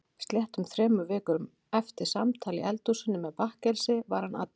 Sléttum þremur vikum eftir samtal í eldhúsinu með bakkelsi var hann allur.